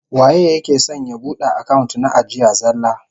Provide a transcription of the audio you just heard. Waye yake son ya bude account na ajiya zallah?